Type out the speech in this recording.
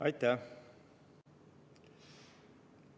Aitäh!